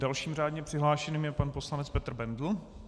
Dalším řádně přihlášeným je pan poslanec Petr Bendl.